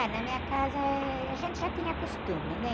Ah, na minha casa, eh, a gente já tinha costume, né?